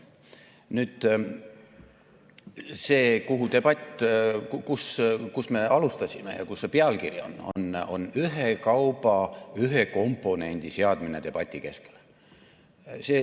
Nüüd see, kust me debatti alustasime ja mis see pealkiri on, on ühe kauba ühe komponendi seadmine debati keskele.